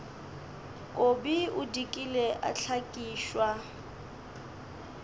kobi o dikile a hlakišwa